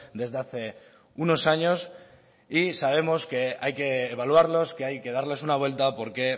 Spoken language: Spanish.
desde hace unos años y sabemos que hay que evaluarlos que hay que darles una vuelta porque